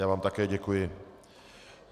Já vám také děkuji.